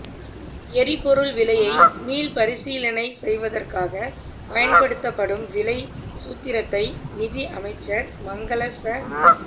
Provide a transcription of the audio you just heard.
எரிபொருள் விலையை மீள்பரிசீலனை செய்வதற்காக பயன்படுத்தப்படும் விலைச் சூத்திரத்தை நிதி அமைச்சர் மங்கள ச